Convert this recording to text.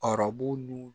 Arabu nun